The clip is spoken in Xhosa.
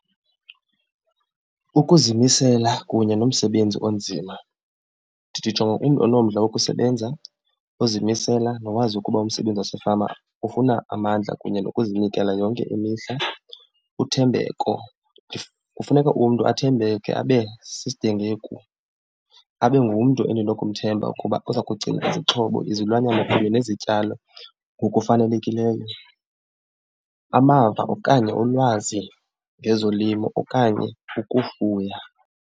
Ukuzimisela kunye nomsebenzi onzima, ndijonga umntu onomdla wokusebenza, uzimisela, nowazi ukuba umsebenzi wasefama ufuna amandla kunye nokuzinikela yonke imihla. Uthembeko, kufuneka umntu athembeke abe , abe ngumntu endinokumthemba ukuba uza kugcina izixhobo, izilwanyana kunye nezityalo ngokufanelekileyo. Amava okanye ulwazi ngezolimo okanye ukufuya.